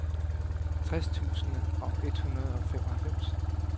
tres tusind et hundrede og femoghalvfems